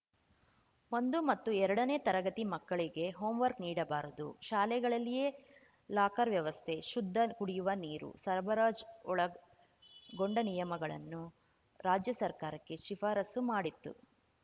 ಒಂದು ಮತ್ತು ಎರಡನೇ ತರಗತಿ ಮಕ್ಕಳಿಗೆ ಹೋಂ ವರ್ಕ್ ನೀಡಬಾರದು ಶಾಲೆಗಳಲ್ಲಿಯೇ ಲಾಕರ್‌ ವ್ಯವಸ್ಥೆ ಶುದ್ಧ ಕುಡಿಯುವ ನೀರು ಸರಬರಾಜ್ ಒಳಗೊಂಡ ನಿಯಮಗಳನ್ನು ರಾಜ್ಯ ಸರ್ಕಾರಕ್ಕೆ ಶಿಫಾರಸು ಮಾಡಿತ್ತು